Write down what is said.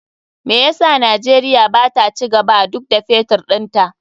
Me yasa Najeriya bata cigaba duk da Fetur ɗinta?